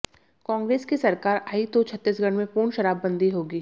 कांग्रेस की सरकार आई तो छत्तीसगढ़ में पूर्ण शराबबंदी होगी